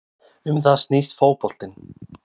Um það snýst fótboltinn